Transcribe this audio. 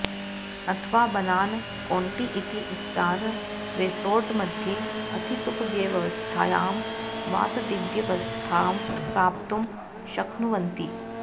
अथवा बनान कौण्टि इति स्टार् रेसोर्ट् मध्ये अतिसुखव्यवस्थायां वासदिव्यवस्थां प्राप्तुं शक्नुवन्ति